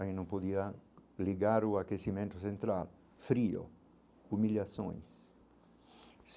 Aí não podia ligar o aquecimento central, frio, humilhações.